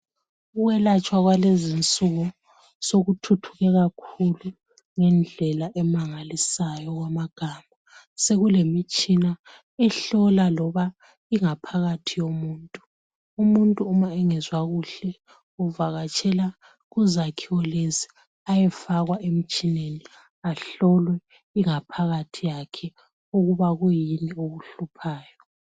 Ukwelatshwa kwalezi insuku sokuthuthuke kakhulu ngendlela emangalisayo okwamagama. Sokulemitshina ehlola loba ingaphakathi yomuntu. Umuntu uma engezwa kuhle uvakatshela kuzakhiwo lezi ayefakwa emtshineni ahlolwe ingaphathi yakhe ukuba kuyini okuhluphayo.